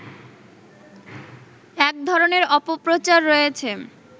এক ধরনের অপপ্রচার রয়েছে